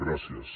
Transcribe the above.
gràcies